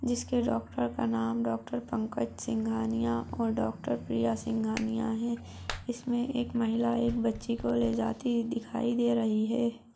जिसके डॉक्टर का नाम डॉक्टर पंकज सिंघानिया आऊर डॉक्टर प्रिय सिंघानिया है ईसमे एक महिला एक बच्चीको लेजाती हुई दिखाई दे रही ह।